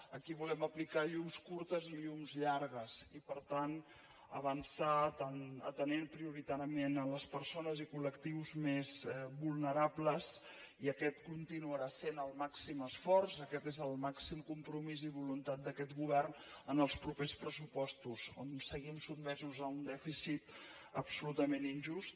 aquí hi volem aplicar llums curts i llums llargs i per tant avançar atenent prioritàriament les persones i col·lectius més vulnerables i aquest continuarà sent el màxim esforç aquest és el màxim compromís i voluntat d’aquest govern en els propers pressupostos on seguim sotmesos a un dèficit absolutament injust